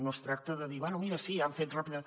no es tracta de dir bé mira sí han fet ràpidament